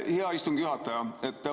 Hea istungi juhataja!